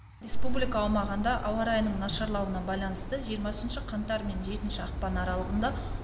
республика аумағында ауа райының нашарлауына байланысты жиырмасыншы қаңтар мен жетінші ақпан аралығында